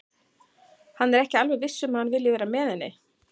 Hann er ekki alveg viss um að hann vilji vera með henni.